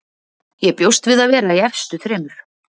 Ég bjóst við að vera í efstu þremur.